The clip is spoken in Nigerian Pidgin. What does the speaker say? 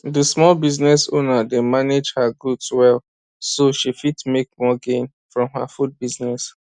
the small business owner dey manage her goods well so she fit make more gain from her food business